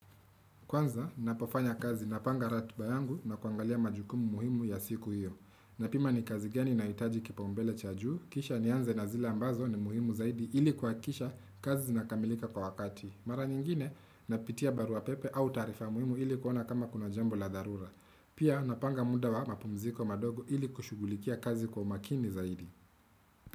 Kwanza, ninapofanya kazi na panga ratiba yangu na kuangalia majukumu muhimu ya siku hiyo. Na pima ni kazi gani inahitaji kipaombele cha juu, kisha nianze na zile ambazo ni muhimu zaidi ili kuhakikisha kazi zinakamilika kwa wakati. Mara nyingine, napitia barua pepe au taarifa muhimu ili kuona kama kuna jambo la dharura. Pia, napanga muda wa mapumziko madogo ili kushughulikia kazi kwa umakini zaidi.